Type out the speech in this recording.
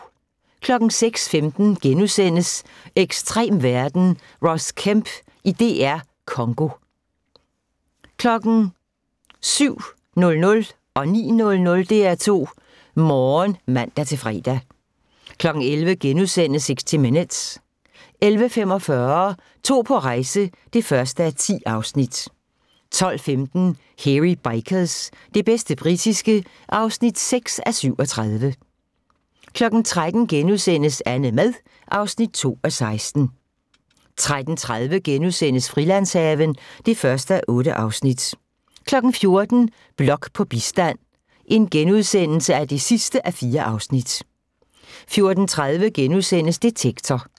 06:15: Ekstrem verden – Ross Kemp i DR Congo * 07:00: DR2 Morgen (man-fre) 09:00: DR2 Morgen (man-fre) 11:00: 60 Minutes * 11:45: To på rejse (1:10) 12:15: Hairy Bikers – det bedste britiske (6:37) 13:00: AnneMad (2:16)* 13:30: Frilandshaven (1:8)* 14:00: Blok på bistand (4:4)* 14:30: Detektor *